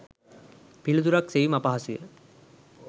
පිළිතුරක් සෙවීම අපහසුය.